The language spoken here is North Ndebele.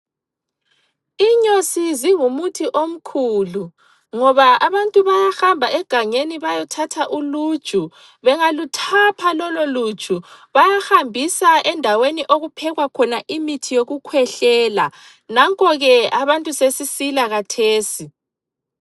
Inyosi zingumuthi omkhulu ngoba abantu bayahamba egangeni bayothatha uluju bengaluthapha lolo luju bayahambisa endaweni okuphekwa khona imithi yokukhwehlela. Nanko ke abantu sesisila khathesi.